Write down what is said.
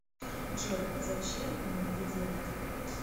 джой зачем ему это делать